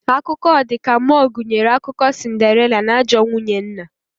Akụkọ ọ dika mmuo gunyere akụkọ sinderila na ajọọ nwunye nna